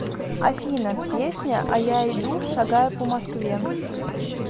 афина песня а я иду шагаю по москве